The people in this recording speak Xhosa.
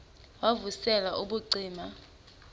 wav usel ubucima